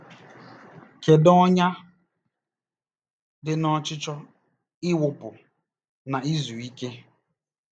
Kedu ọnyà dị n'ọchịchọ ịwụpụ na izuike?